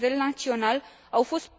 la nivel național, au fost